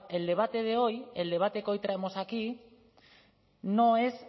el debate de hoy el debate que hoy traemos aquí no es